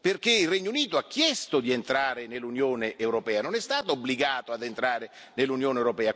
perché il Regno Unito ha chiesto di entrare nell'Unione europea, non è stato obbligato ad entrare nell'Unione europea.